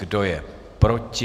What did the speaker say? Kdo je proti?